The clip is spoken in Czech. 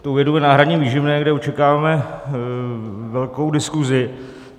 Tou jednou je náhradní výživné, kde očekáváme velkou diskusi.